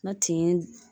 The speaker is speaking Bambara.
Na tin